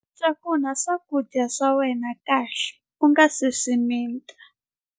Cakunya swakudya swa wena kahle u nga si swi mita.